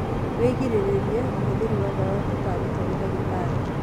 Wigiririririe ũhũthĩri wa dawa utataritwo ni ndagĩtarĩ